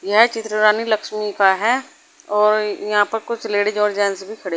यह चित्र रानी लक्ष्मी का है और यहां पर कुछ लेडिस और जेंट्स भी खड़े--